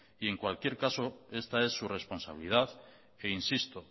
en cualquier caso esta es su responsabilidad e insisto